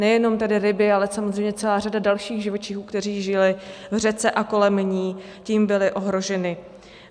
Nejenom tedy ryby, ale samozřejmě celá řada dalších živočichů, kteří žili v řece i kolem ní, tím byla ohrožena.